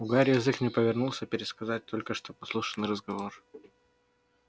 у гарри язык не повернулся пересказать только что подслушанный разговор